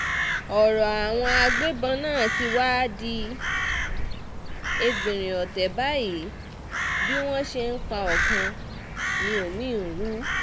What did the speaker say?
ọ̀rọ̀ àwọn agbébọ́n náà tí wàá di ẹgbìnrin ọ̀tẹ̀ báyìí bí wọ́n ṣe ń pa ọkàn ni omi-ín ń rú